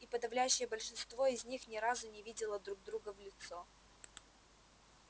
и подавляющее большинство из них ни разу не видело друг друга в лицо